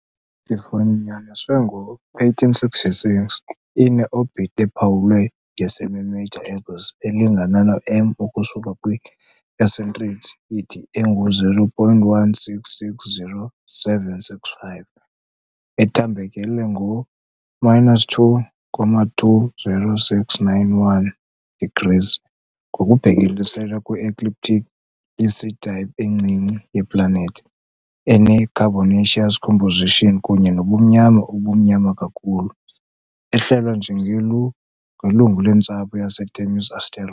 Ifunyaniswe ngo-1866, ine- orbit ephawulwe yi-semi-major axis elingana no-M ukusuka kwi- eccentricity ye-0.1660765, ethambekele ngo-2.20691 degrees ngokubhekiselele kwi-ecliptic. I-C-type encinci yeplanethi, ene- carbonaceous composition kunye nobumnyama obumnyama kakhulu, ehlelwa njengelungu lentsapho yaseThemis asteroid.